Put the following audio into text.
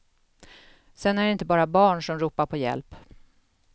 Sen är det inte bara barn, som ropar på hjälp.